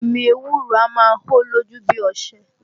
Omi ewúro a máa hó lójú bí ọṣẹ